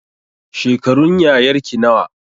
Shekarun yayarki nawa